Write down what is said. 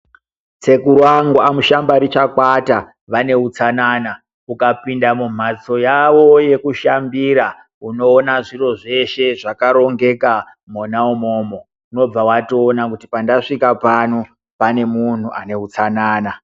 Sekuru vangu amuShambarishakwata vane utsanana ukapinda mumhatso yavo yokushambira unoona zviro zveshe zvakarongeka mona imomo, unobva watoona kuti pandasvika pano pane munhu uno utsanana.